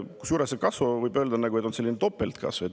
Kusjuures see kasu, võib öelda, on selline topeltkasu.